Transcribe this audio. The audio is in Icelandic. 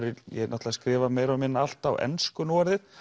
er ég náttúrulega skrifa meira og minna allt á ensku núorðið